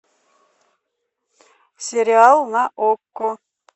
сериал на окко